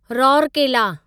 Rourkela